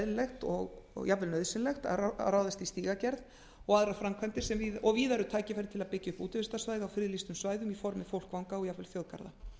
æskilegt og jafnvel nauðsynlegt að ráðast í stígagerð og aðrar framkvæmdir og víða eru tækifæri til að byggja upp útivistarsvæði á friðlýstum svæðum í formi fólkvanga og jafnvel þjóðgarða